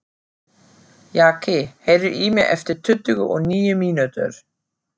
Jaki, heyrðu í mér eftir tuttugu og níu mínútur.